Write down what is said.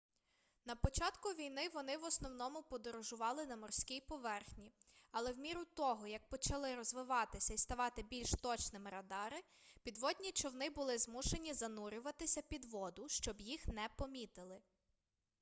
на початку війни вони в основному подорожували на морській поверхні але в міру того як почали розвиватися і ставати більш точними радари підводні човни були змушені занурюватися під воду щоб їх не помітили